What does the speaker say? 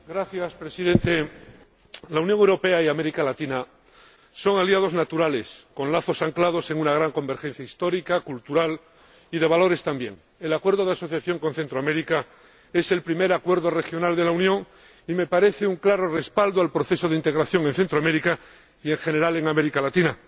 Señor Presidente, la Unión Europea y América Latina son aliados naturales, con lazos anclados en una gran convergencia histórica, cultural, y también de valores. El Acuerdo de Asociación con Centroamérica es el primer acuerdo regional de la Unión y me parece un claro respaldo al proceso de integración en Centroamérica y, en general, en América Latina.